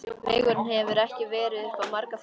Vegurinn hefur ekki verið upp á marga fiska.